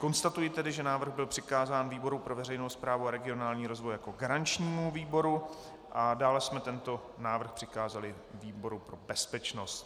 Konstatuji tedy, že návrh byl přikázán výboru pro veřejnou správu a regionální rozvoj jako garančnímu výboru a dále jsme tento návrh přikázali výboru pro bezpečnost.